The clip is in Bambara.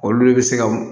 Olu de bɛ se ka